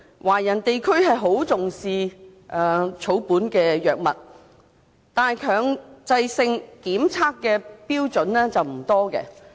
華人地區很重視草本藥物，但強制性檢測的標準不多。